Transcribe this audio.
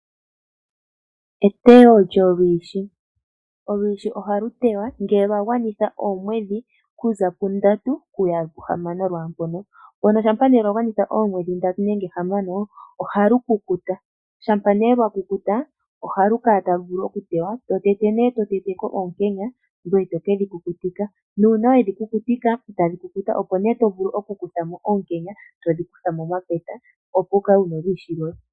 Etewo lyolwiishi, olwiishi ohali tewa ngele lwa gwanitha oomwedhi okuza pundatu okuya kuhamano lwaampono, mono shampa lwa gwanitha oomwedhi ndatu nenge hamano ohaku kukuta, shampa nee lwakukuta, ohali vulu oku kala talu tewa, to tete nee oonkenya ngoye tokedhi kukutika, nuuna weshi kukutika opo nee to vulu oku kutha mo oonkenye todhi kutha momapeta opo wukale wuna olwiishi lwoye.